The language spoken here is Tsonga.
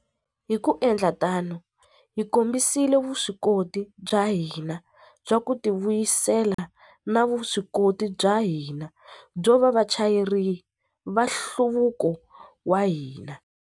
Hi ku endla tano, hi kombisile vuswikoti bya hina bya ku tivuyisela na vuswikoti bya hina byo va vachayeri va nhluvuko wa hina.